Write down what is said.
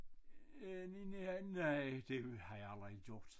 Øh nej det har jeg aldrig gjort